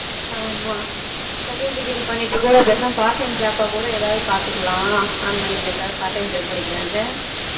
ஆமா second degree பண்ணிட்டு கூட பேசாம part time job கூட ஏதாவது பாத்துக்கலாம் online ஏதாவது part time job கிடைக்குதானு